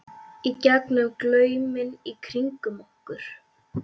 í gegnum glauminn í kringum okkur.